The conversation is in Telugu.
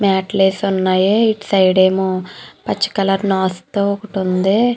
మ్యాట్ లు వేసి ఉన్నాయి. ఇటు సైడ్ ఏమో పచ్చి కలర్ నాచు తో ఒకటి ఉంది.